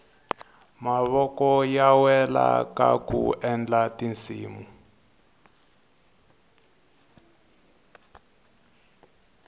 mavoko ya wela kaku endla tinsimu